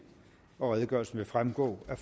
og redegørelsen vil fremgå af